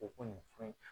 O ko nin fɛn in